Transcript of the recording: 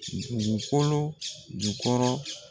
Dugukolo jukɔrɔ